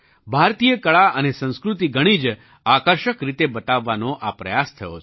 ભારતીય કળા અને સંસ્કૃતિ ઘણી જ આકર્ષક રીતે બતાવવાનો આ પ્રયાસ થયો છે